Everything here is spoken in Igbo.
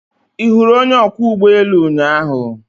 Ị hụrụ onye ọkwọ ụgbọ elu ụnyaahụ?